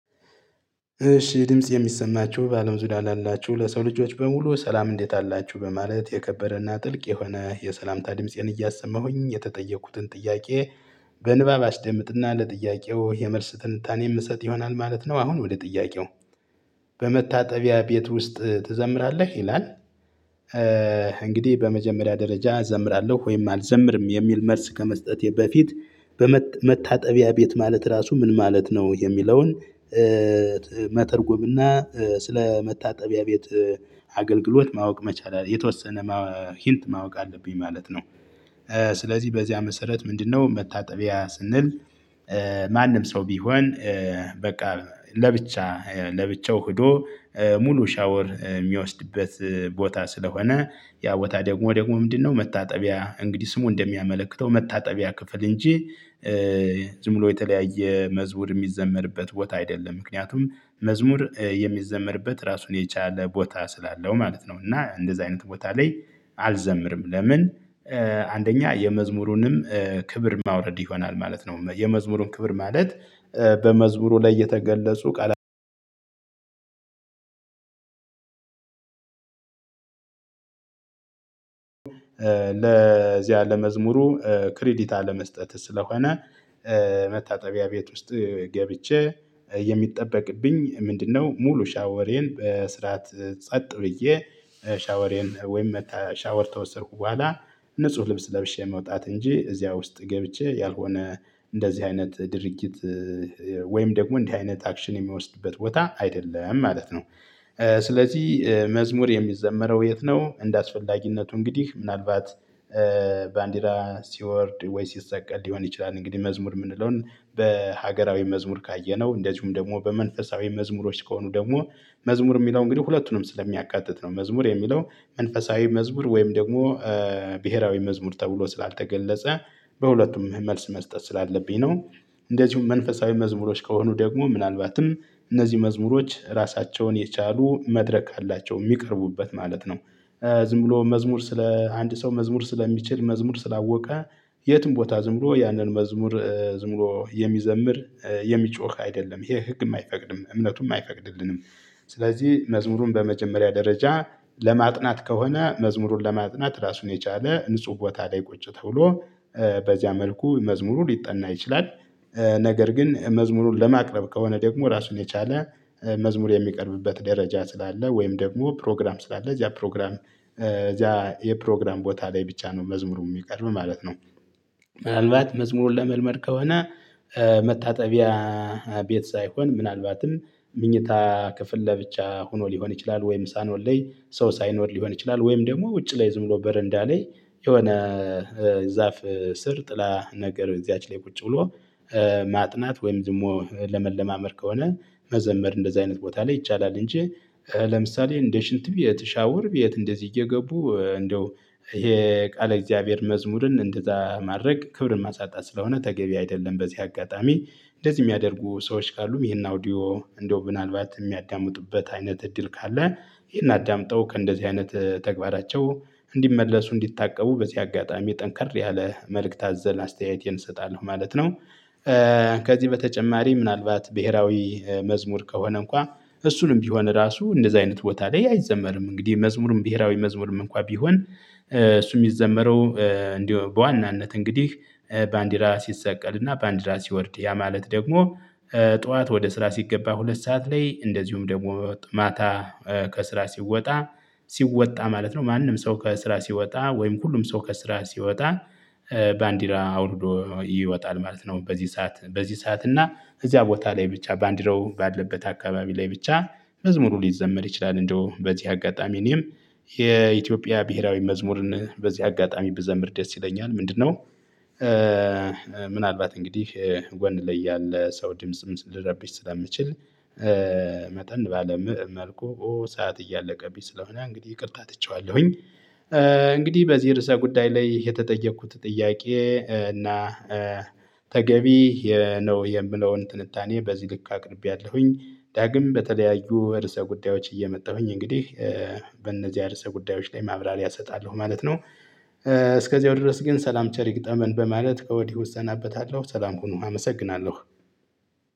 እሺ ድምጽ የሚሰማችሁ በአለም ዙሪያ ላላችሁ ለሰው ልጆች በሙሉ ሰላም እንዴት አላችሁ በማለት የከበረና ጥልቅ የሆነ የሰላምታ ድምፄን እያሰማሁኝ የተጠየኩትን ጥያቄ። በንባብ አስደምጥና ለጥያቄው የመልስ ትንታኔ የምሰጥ ይሆናል ማለት ነው። አሁን ወደ ጥያቄው በመታጠቢያ ቤት ውስጥ ትዘምራለህ ይላል? እንግዲህ በመጀመሪያ ደረጃ እዘምራለሁ ወይም አልዘምርም የሚል መልስ ከመስጠቴ በፊት በመታጠቢያ ቤት ማለት ራሱ ምን ማለት ነው? የሚለውን መተርጎምና ስለመታጠቢያ ቤት አገልግሎት ማወቅ መቻል አለ የተወሰነ ማወቅ ሂንት ማወቅ አለብኝ ማለት ነው። ስለዚህ በዚያ መሰረት ምንድነው? መታጠቢያ ስንል። ማንም ሰው ቢሆን በቃ ለብቻ ለብቻው ሄዶ ሙሉ ሻወር የሚወስድበት ቦታ ስለሆነ ያ ቦታ ደግሞ ደግሞ ምንድነው? መታጠቢያ እንግዲህ ስሙ እንደሚያመለክተው መታጠቢያ ክፍል እንጂ ዝም ብሎ የተለያየ መዝሙር የሚዘመርበት ቦታ አይደለም። ምክንያቱም መዝሙር የሚዘመርበት ራሱን የቻለ ቦታ ስላለው ማለት ነው። እና እንደዚህ አይነት ቦታ ላይ አልዘምርም ለምን? አንደኛ የመዝሙሩንም ክብር ማውረድ ይሆናል ማለት ነው። የመዝሙሩን ክብር ማለት በመዝሙሩ ላይ የተገለጹ ቃል። ለዚያ ለመዝሙሩ ክሬዲት አለመስጠት ስለሆነ። መታጠቢያ ቤት ውስጥ ገብቼ የሚጠበቅብኝ ምንድነው? ሙሉ ሻወሬን በስርዓት ጸጥ ብዬ ሻወሬን ወይም ሻወር ከወሰድኩ በኋላ ንጹህ ልብስ ለብሼ መውጣት እንጂ እዚያ ውስጥ ገብቼ ያልሆነ እንደዚህ አይነት ድርጊት። ወይም ደግሞ እንዲህ አይነት አክሽን የሚወስድበት ቦታ አይደለም ማለት ነው። ስለዚህ መዝሙር የሚዘመረው የት ነው? እንደአስፈላጊነቱ እንግዲህ ምናልባት ባንዲራ ሲወርድ ወይ ሲሰቀል ሊሆን ይችላል። እንግዲህ መዝሙር የምንለውን በሀገራዊ መዝሙር ካየነው እንደዚሁም ደግሞ በመንፈሳዊ መዝሙሮች ከሆኑ ደግሞ መዝሙር የሚለው እንግዲህ ሁለቱንም ስለሚያካትት ነው። መዝሙር የሚለው መንፈሳዊ መዝሙር ወይም ደግሞ ብሄራዊ መዝሙር ተብሎ ስላልተገለጸ በሁለቱም መልስ መስጠት ስላለብኝ ነው። እንደዚሁም መንፈሳዊ መዝሙሮች ከሆኑ ደግሞ ምናልባትም እነዚህ መዝሙሮች ራሳቸውን የቻሉ መድረክ አላቸው የሚቀርቡበት ማለት ነው። ዝም ብሎ መዝሙር ስለ አንድ ሰው መዝሙር ስለሚችል መዝሙር ስላወቀ የትም ቦታ ዝም ብሎ ያንን መዝሙር ዝም ብሎ የሚዘምር የሚጮህ አይደለም ይሄ ህግም አይፈቅድም እምነቱም አይፈቅድልንም። ስለዚህ መዝሙሩን በመጀመሪያ ደረጃ ለማጥናት ከሆነ መዝሙሩን ለማጥናት ራሱን የቻለ ንጹህ ቦታ ላይ ቁጭ ተብሎ በዚያ መልኩ መዝሙሩ ሊጠና ይችላል። ነገር ግን መዝሙሩን ለማቅረብ ከሆነ ደግሞ ራሱን የቻለ መዝሙር የሚቀርብበት ደረጃ ስላለ ወይም ደግሞ ፕሮግራም ስላለ እዚያ ፕሮግራም እዚያ የፕሮግራም ቦታ ላይ ብቻ ነው መዝሙሩ የሚቀርብ ማለት ነው። ምናልባት መዝሙሩን ለመልመድ ከሆነ መታጠቢያ ቤት ሳይሆን ምናልባትም ምኝታ ክፍል ለብቻ ሆኖ ሊሆን ይችላል። ወይም ሳሎን ላይ ሰው ሳይኖር ሊሆን ይችላል። ወይም ደግሞ ውጭ ላይ ዝም ብሎ በረንዳ ላይ የሆነ ዛፍ ስር ጥላ ነገር እዚያች ላይ ቁጭ ብሎ ማጥናት ወይም ደግሞ ለመለማመድ ከሆነ መዘመር እንደዚህ አይነት ቦታ ላይ ይቻላል። እንጂ ለምሳሌ እንደ ሽንት ቤት ሻወር ቤት እንደዚህ እየገቡ እንደው ይሄ የቃል እግዚአብሔር መዝሙርን እንደዛ ማድረግ ክብርን ማሳጣት ስለሆነ ተገቢ አይደለም። በዚህ አጋጣሚ እንደዚህ የሚያደርጉ ሰዎች ካሉም ይሄን አውዲዮ እንደው ምናልባት የሚያዳምጡበት አይነት እድል ካለ ይሄን አዳምጠው ከእንደዚህ አይነት ተግባራቸው እንዲመለሱ እንዲታቀቡ በዚህ አጋጣሚ ጠንከር ያለ መልእክት አዘል አስተያየቴን እሰጣለሁ ማለት ነው። ከዚህ በተጨማሪ ምናልባት ብሄራዊ መዝሙር ከሆነ እንኳን እሱንም ቢሆን ራሱ እንደዚህ አይነት ቦታ ላይ አይዘመርም። እንግዲህ መዝሙርም ብሄራዊ መዝሙርም እንኳን ቢሆን እሱ የሚዘመረው እንደው በዋናነት እንግዲህ ባንዲራ ሲሰቀልና ባንዲራ ሲወርድ ያ ማለት ደግሞ ጠዋት ወደ ስራ ሲገባ ሁለት ሰዓት ላይ እንደዚሁም ደግሞ ማታ ከስራ ሲወጣ ሲወጣ ማለት ነው። ማንም ሰው ከስራ ሲወጣ ወይም ሁሉም ሰው ከስራ ሲወጣ ባንዲራ አውርዶ ይወጣል ማለት ነው። በዚህ ሰዓት በዚህ ሰዓት እና እዚያ ቦታ ላይ ብቻ ባንዲራው ባለበት አካባቢ ላይ ብቻ መዝሙሩ ሊዘመር ይችላል። እንደው በዚህ አጋጣሚ እኔም የኢትዮጵያ ብሄራዊ መዝሙርን በዚህ አጋጣሚ ብዘምር ደስ ይለኛል ምንድነው? ምናልባት እንግዲህ ጎን ላይ ያለ ሰው ድምጽም ሊረብሽ ስለምችል መጠን ባለ መልኩ ሰዓት እያለቀብኝ ስለሆነ እንግዲህ ይቅርታ ትቼዋለሁኝ። እንግዲህ በዚህ ርዕሰ ጉዳይ ላይ የተጠየኩት ጥያቄ እና ተገቢ ነው የምለውን ትንታኔ በዚህ ልክ አቅርቤያለሁኝ። ዳግም በተለያዩ እርሰ ጉዳዮች እየመጣሁኝ እንግዲህ በእነዚያ ርዕሰ ጉዳዮች ላይ ማብራሪያ እሰጣለሁ ማለት ነው። እስከዚያው ድረስ ግን ሰላም ቸር ይግጠመን በማለት ከወዲሁ እሰናበታለሁ ሰላም ሁኑ አመሰግናለሁ።